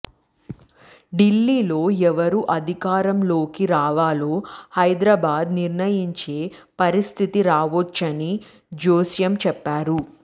ఢిల్లీలో ఎవరు అధికారంలోకి రావాలో హైదరాబాద్ నిర్ణయించే పరిస్థితి రావొచ్చని జోస్యం చెప్పారు